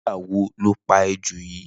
Nigbà wò ló pà éjó yi?